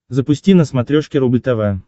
запусти на смотрешке рубль тв